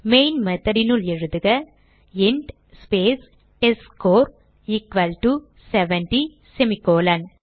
main method னுள் எழுதுக int space test score equal to 70 semicolon